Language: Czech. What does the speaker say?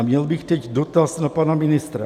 A měl bych teď dotaz na pana ministra.